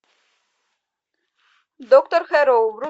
доктор хэрроу